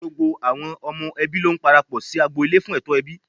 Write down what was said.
Gbogbo ọmọ ẹbí ló parapọ̀ sí agbo- ilé fún ètò ẹbí.